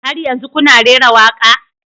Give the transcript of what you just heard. Har yanzu kuna rera waƙa?